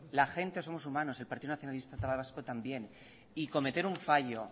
la gente somos humanos el partido nacionalista vasco también y cometer un fallo